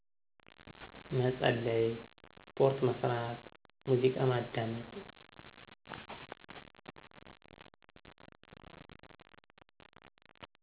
መጸለይ፣ ስፖርት መስራት፣ ሙዚቃ ማዳመጥ።